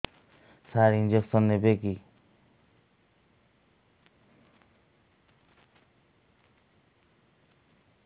ସାର injection ନେବିକି